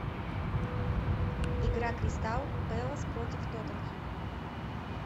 игра кристал пэлас против тоттенхэм